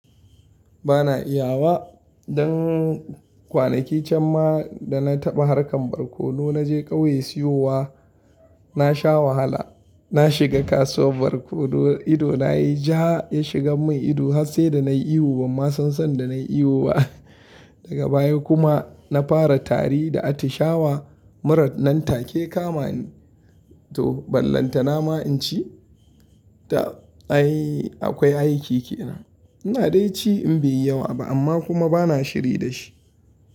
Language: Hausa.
Ba na iya wa. Dan kwanaki can ma da na taɓa harkar barkono na je kauye siyowa, na sha wahala. Na shiga kasuwar barkono, ido na ya yi ja, ya shiga mun ido har sai da na yi ihu, ban ma san sanda na yi ihu ba. Daga baya kuma na fara tari da atishawa. Mura nan take ya kama ni, to, ballanta nama in ci, ta ai akwai aiki kenan. Ina dai ci in bai yi yawa ba amma kuma ba na shiri da shi.